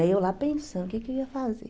né? E eu lá pensando, o que eu ia fazer?